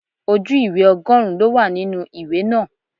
Ojú ìwé ọgọrun ló wà nínú ìwé náà.